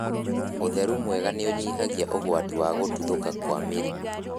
Ũtheru mwega nĩũnyihagia ũgwati wa gũtuthũka kwa mĩrimũ